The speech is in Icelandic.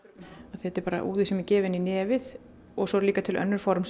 þetta er bara úði sem er gefinn í nefið og svo eru líka til önnur form